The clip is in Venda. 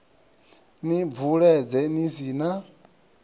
ni bvuledze ni si na